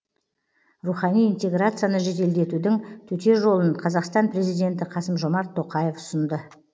рухани интеграцияны жеделдетудің төте жолын қазақстан президенті қасым жомарт тоқаев ұсынды